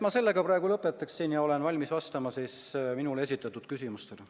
Sellega ma praegu lõpetangi ja olen valmis vastama minule esitatud küsimustele.